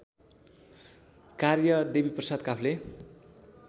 कार्य देवीप्रसाद काफ्ले